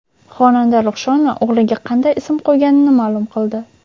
Xonanda Ruxshona o‘g‘liga qanday ism qo‘yganini ma’lum qildi.